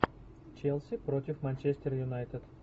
челси против манчестер юнайтед